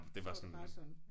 Så var det bare sådan